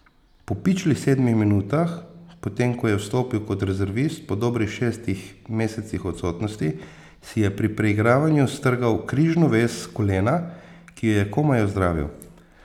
Po pičlih sedmih minutah, potem ko je vstopil kot rezervist po dobrih šestih mesecih odsotnosti, si je pri preigravanju strgal križno vez kolena, ki jo je komaj ozdravil.